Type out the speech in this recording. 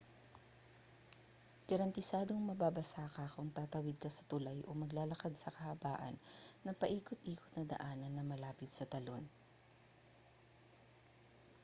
garantisadong mababasa ka kung tatawid ka sa tulay o maglalakad sa kahabaan ng paikot-ikot na daanan na malapit sa talon